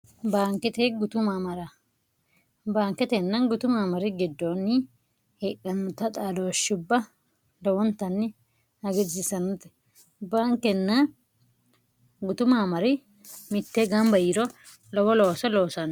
baankete gutummrbaanketenna gutu maamari giddoonni heedhannota xadooshshibb lowontanni agirsisanote baankenna gutu maamari mittee gamba yiro lowo looso loosanno